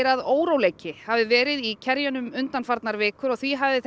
að óróleiki hafi verið í undanfarnar vikur og því hafi